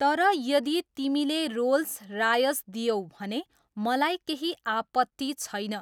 तर यदि तिमीले रोल्स रायस दियौ भने मलाई केही आपत्ति छैन।